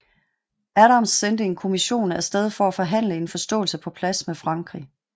Adams sendte en kommission af sted for at forhandle en forståelse på plads med Frankrig